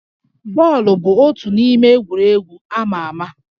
Bọọlụ bụ otu n'ime egwuregwu amà amà